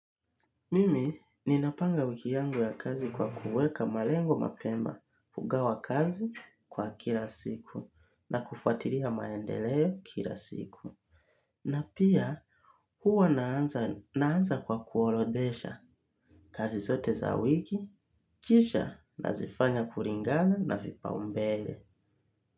Mimi ninapanga wiki yangu ya kazi kwa kuweka malengo mapema kugawa kazi kwa kila siku na kufatilia maendeleo kila siku. Na pia huwa naaanza kwa kuorodesha kazi zote za wiki, kisha na zifanya kulingana na vipa umbele.